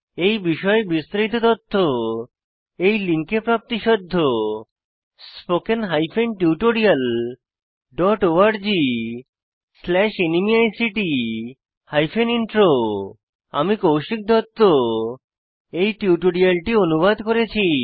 এই বিষয়ে বিস্তারিত তথ্য এই লিঙ্কে প্রাপ্তিসাধ্য httpspoken tutorialorgNMEICT Intro আমি কৌশিক দত্ত এই টিউটোরিয়ালটি অনুবাদ করেছি